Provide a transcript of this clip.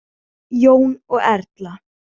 Jón og Erla.